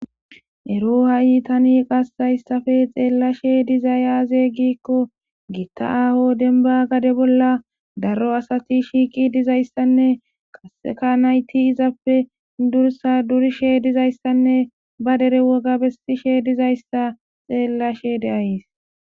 ero ha7i tani qassayssafe xeellashe dizayaaze gikko giitta aho denba gade bolla daro asati shiiqi dizayssanne qasseka nayti izappe dursa durishe dizayssanne ba dere woga bessishe dizayssa xeellashe deays